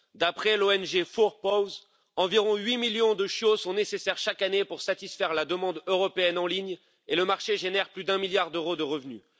D'après l'ONG Four Paws, environ huit millions de chiots sont nécessaires chaque année pour satisfaire la demande européenne en ligne et le marché génère plus d'un milliard d'euros de revenus.